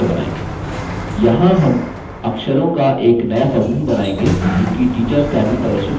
यहाँ हम अक्षरों का एक नया समूह बनाएँगे जोकि teachers line में प्रदर्शित हो सकता है